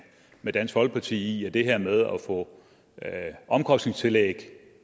med dansk folkeparti i at det her med at få omkostningstillæg